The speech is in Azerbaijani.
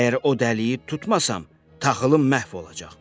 Əgər o dəliyi tutmasam, taxılım məhv olacaq.